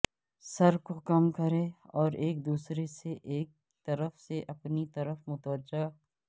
سر کو کم کریں اور ایک دوسرے سے ایک طرف سے اپنی طرف متوجہ